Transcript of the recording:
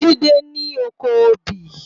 Jide ni ókó óbì